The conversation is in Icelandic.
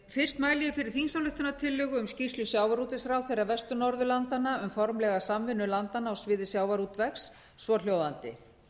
fyrst mæli ég fyrir skýrslu sjávarútvegsráðherra vestur norðurlandanna um formlega samvinnu landanna á sviði sjávarútvegs svohljóðandi